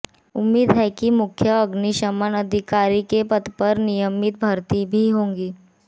उम्मीद है कि मुख्य अग्निशमन अधिकारी के पद पर नियमित भर्ती भी होगी